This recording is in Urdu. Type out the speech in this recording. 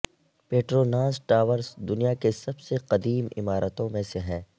پیٹروناس ٹاورز دنیا کے سب سے قدیم عمارتوں میں سے ہیں